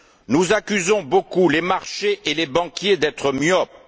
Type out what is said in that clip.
Nous accusons beaucoup les marchés et les banquiers d'être myopes.